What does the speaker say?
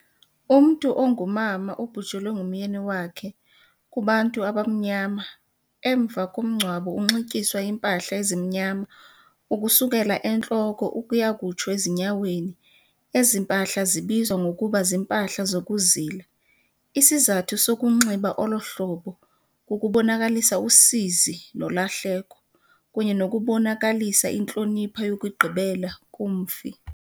Umntu ongumama obhujelwe ngumyeni wakhe kubantu abamnyama, emva komngcwabo unxityiswe iimpahla ezimnyama ukusukela entloko ukuya kutsho ezinyaweni. Ezi mpahla zibizwa ngokuba ziimpahla zokuzila. Isizathu sokunxiba olo hlobo kukubonakalisa usizi nolahleko kunye nokubonakalisa intlonipho yokugqibela kumfi.